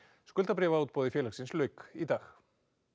skuldabréfaútboði félagsins lauk í dag